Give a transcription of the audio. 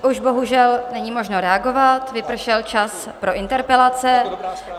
Už bohužel není možno reagovat, vypršel čas pro interpelace.